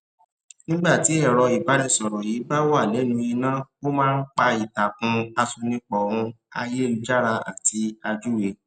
nígbé tí ẹrọ ìbánisọrọ yìí bá wà lẹnu iná ó má n pa ìtàkùn àṣonipọ ún àyélujára àti àjúwe